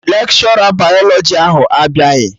Lekshọra bayalọjị ahụ abịaghị